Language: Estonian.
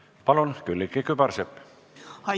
Palun, Külliki Kübarsepp!